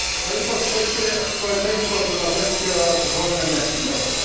No i po trzecie, społeczeństwo obywatelskie oraz wolne media.